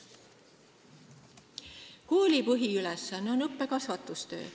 Kooli põhiülesanne on õppe- ja kasvatustöö.